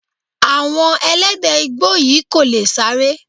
Àwọn Ẹlẹ́dẹ̀ Igbó yìí kò lè sáré.